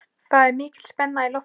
Það er mikil spenna í loftinu.